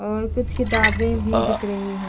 और कुछ किताबे भी दिख रही है।